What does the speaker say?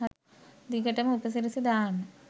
දිගටම උපසිරැසි දාන්න